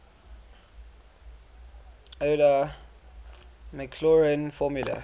euler maclaurin formula